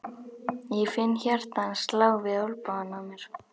Ég finn hjarta hans slá við olnbogann á mér.